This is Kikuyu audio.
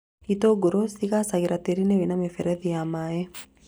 Itũngũrũ cigaacagĩra tĩĩri-inĩ wĩna mĩberethi ya maĩ